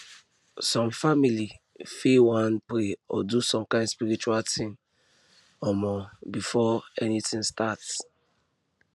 some families fit wan pray or do some kind spiritual thing um before anything start